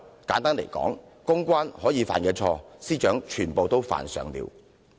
簡單來說，公關會犯的錯誤，司長已經全部犯上了。